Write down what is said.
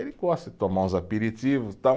Ele gosta de tomar uns aperitivos, tal